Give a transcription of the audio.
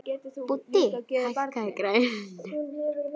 Búddi, hækkaðu í græjunum.